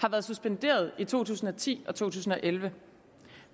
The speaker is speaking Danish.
har været suspenderet i to tusind og ti og to tusind og elleve